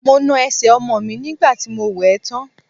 Mo na ẹsẹ̀ ọmọ mi nígbà tí mo wẹ̀ ẹ́ tán.